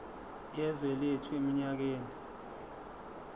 yezwe lethu eminyakeni